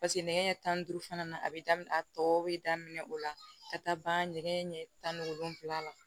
paseke nɛgɛ ɲɛ tan ni duuru fana a be daminɛ a tɔ be daminɛ o la ka taa ban nɛgɛ ɲɛ tan ni wolonwula la